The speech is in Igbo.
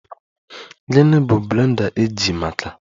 Gịnị bụ blender eji maka?